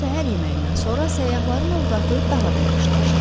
Doyumlu səhər yeməyindən sonra səyyahların ovqatı daha da yaxşılaşdı.